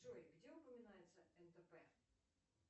джой где упоминается нтп